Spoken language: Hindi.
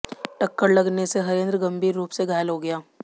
टक्कर लगने से हरेंद्र गंभीर रूप से घायल हो गया